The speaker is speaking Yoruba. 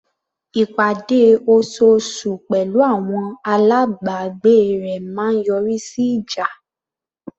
Ìpàdé osoosù pẹ̀lú àwọn alábàgbé rẹ̀ máa ń yọrí sí ìjà.